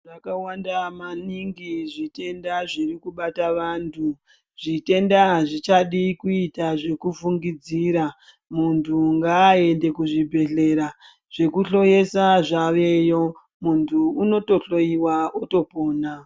Zvakanaka maningi zvitenda zviri kubata vantu zvitenda azvichadi kuita zvekufungidzira muntu ngaende kuzvibhedhlera zvekuhloyesa zvaveyo muntu unotohleyewa otopona.